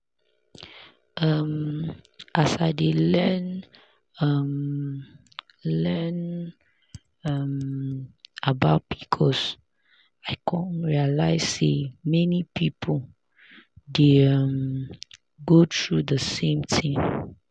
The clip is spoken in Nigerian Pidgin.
um as i dey learn um learn um about pcos i realize say many people dey um go through the same thing.